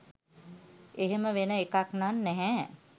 එහෙම වෙන එකක් නම් නැහැ.